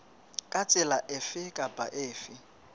ka tsela efe kapa efe